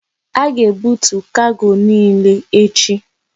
A ga ebutu kargo niile echi!